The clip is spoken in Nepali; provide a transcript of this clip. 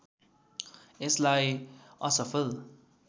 यसलाई असफल